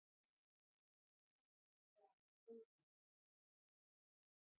Skíðalyftan var við hótelið.